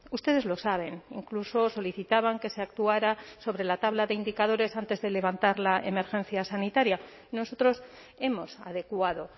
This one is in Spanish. ustedes lo saben incluso solicitaban que se actuara sobre la tabla de indicadores antes de levantar la emergencia sanitaria nosotros hemos adecuado